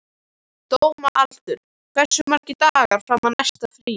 Dómaldur, hversu margir dagar fram að næsta fríi?